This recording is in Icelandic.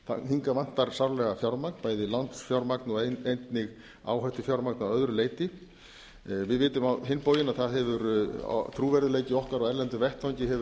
hingað vantar sárlega fjármagn bæði lánsfjármagn og einnig áhættufjármagn að öðru leyti við vitum á hinn bóginn að það hefur trúverðugleiki okkar á erlendum vettvangi hefur